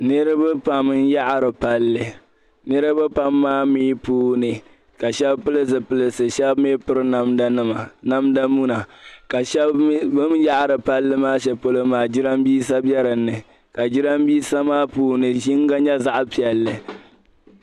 Niriba pam n yaɣiri palli niriba Pam maa mi puuni ka shɛb pill zupilsi shɛb mi piri namdanima namda muna ka shɛb mi bin yaɣiri palli maa shell maa jirambiisa be dini ka jirambiisa maa puuni yino nyɛ zaɣ piɛlli